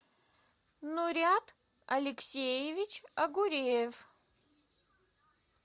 нурят алексеевич агуреев